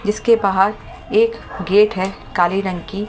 जिसके बाहर एक गेट है काली रंग की।